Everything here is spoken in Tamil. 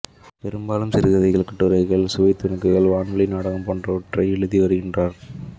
பெரும்பாலும் சிறுகதைகள் கட்டுரைகள் சுவைத்துணுக்குகள் வானொலி நாடகம் போன்றவற்றை எழுதி வருகின்றார்